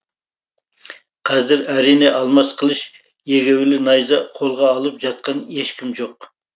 қазір әрине алмас қылыш егеулі найза қолға алып жатқан ешкім жоқ